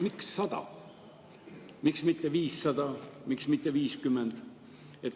Miks 100, miks mitte 500, miks mitte 50?